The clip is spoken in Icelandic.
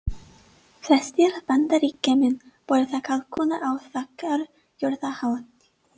Flestir Bandaríkjamenn borða kalkún á þakkargjörðarhátíðinni.